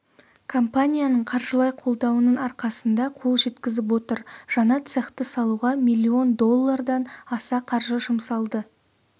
компанияның қаржылай қолдауының арқасында қол жеткізіп отыр жаңа цехты салуға миллион доллардан аса қаржы жұісалды